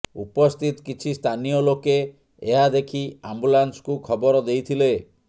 ଉପସ୍ଥିତ କିଛି ସ୍ଥାନୀୟ ଲୋକେ ଏହା ଦେଖି ଆମ୍ବୁଲାନ୍ସକୁ ଖବର ଦେଇଥିଲେ